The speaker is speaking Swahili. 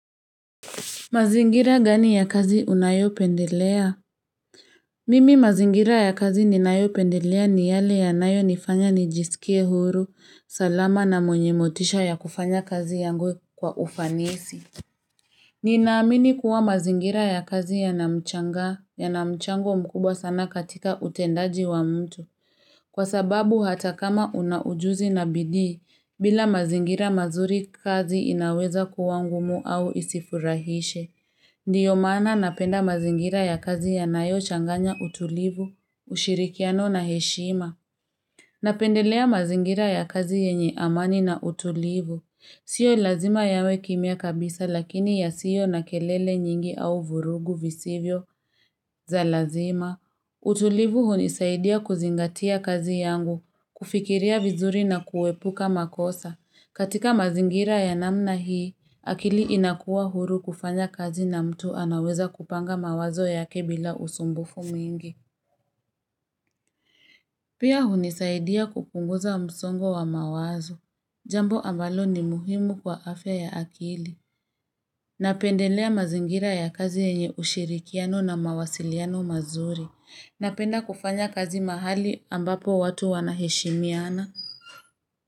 Mazingira gani ya kazi unayopendelea? Mimi mazingira ya kazi ninayopendelea ni yale yanayonifanya nijisikie huru, salama na mwenye motisha ya kufanya kazi yangu kwa ufanisi. Ninaamini kuwa mazingira ya kazi yana mchango mkubwa sana katika utendaji wa mtu. Kwa sababu hata kama una ujuzi na bidii, bila mazingira mazuri kazi inaweza kuwa ngumu au isifurahishe. Ndiyo maana napenda mazingira ya kazi yanayo changanya utulivu, ushirikiano na heshima. Napendelea mazingira ya kazi yenye amani na utulivu. Sio lazima yawe kimya kabisa lakini yasio na kelele nyingi au vurugu visivyo za lazima. Utulivu hunisaidia kuzingatia kazi yangu, kufikiria vizuri na kuepuka makosa. Katika mazingira ya namna hii, akili inakuwa huru kufanya kazi na mtu anaweza kupanga mawazo yake bila usumbufu mwingi. Pia hunisaidia kupunguza msongo wa mawazo. Jambo ambalo ni muhimu kwa afya ya akili. Napendelea mazingira ya kazi yenye ushirikiano na mawasiliano mazuri. Napenda kufanya kazi mahali ambapo watu wanaheshimiana.